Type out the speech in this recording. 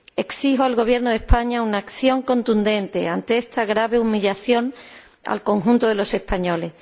Exijo al Gobierno de España una acción contundente ante esta grave humillación al conjunto de los españoles.